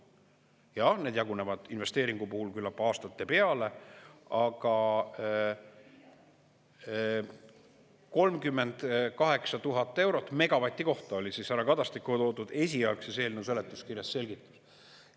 Jaa, need jagunevad investeeringu puhul küllap aastate peale, aga 38 000 eurot megavati kohta oli härra Kadastiku toodud esialgses eelnõu seletuskirjas selgitus.